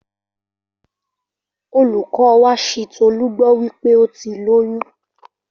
Olùkọ́ wa ṣi Tọlú gbọ́ wípé óti lóyún